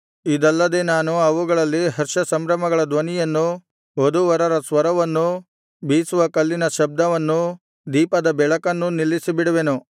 ಇದಲ್ಲದೆ ನಾನು ಅವುಗಳಲ್ಲಿ ಹರ್ಷಸಂಭ್ರಮಗಳ ಧ್ವನಿಯನ್ನೂ ವಧೂವರರ ಸ್ವರವನ್ನೂ ಬೀಸುವ ಕಲ್ಲಿನ ಶಬ್ದವನ್ನೂ ದೀಪದ ಬೆಳಕನ್ನೂ ನಿಲ್ಲಿಸಿಬಿಡುವೆನು